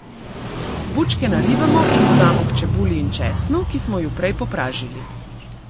Bučke naribamo in dodamo k čebuli in česnu, ki smo ju prej popražili.